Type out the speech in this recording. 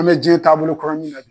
An be jiɲɛn taabolo kura min na bi